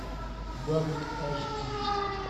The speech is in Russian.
бабник аш ди